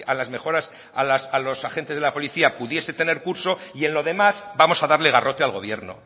las mejoras a los agentes de la policía pudiese tener curso y en lo demás vamos a darle garrote al gobierno